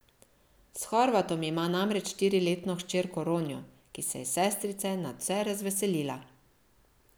S Horvatom ima namreč štiriletno hčerko Ronjo, ki se je sestrice nadvse razveselila.